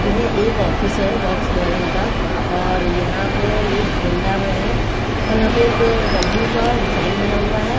ये है एक ऑफिस है भोकस वागेन का और यहाँ पे ये भटिंडा में है और यहाँ पे एक डब्लू का साइन बना हुआ है।